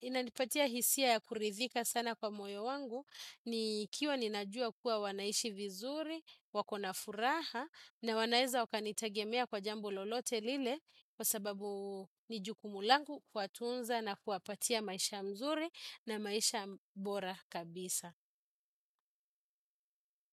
inanipatia hisia ya kuridhika sana kwa moyo mwangu ikiwa najua kuwa wanaishi vizuri wakona furaha na wanaweza kunitegemea kwa jambo lolote lile kwa sababu ni jukumu langu kuwatunza na kuwapatia maisha mzuri na maisha bora kabisa.